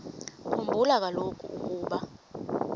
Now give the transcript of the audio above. khumbula kaloku ukuba